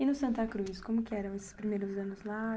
E no Santa Cruz, como que eram esses primeiros anos lá?